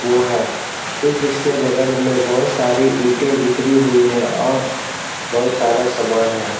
वो है ठीक इसके बगल में बहुत सारी इटें बिखरी हुई है और बहुत सारा सामान है।